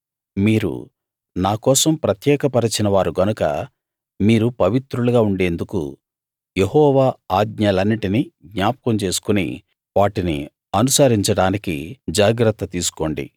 మీరు నా కోసం ప్రత్యేకపరచిన వారు గనక మీరు పవిత్రులుగా ఉండేందుకు యెహోవా ఆజ్ఞలన్నిటినీ జ్ఞాపకం చేసుకుని వాటిని అనుసరించడానికి జాగ్రత్త తీసుకోండి